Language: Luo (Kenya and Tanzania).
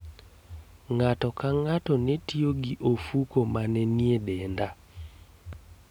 Ng'ato ka ng'ato ne tiyo gi ofuko ma ne nie denda